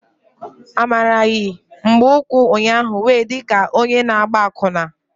Amara yi mgbaukwu ụnyaahụ wee di ka onye na-agba akwụna.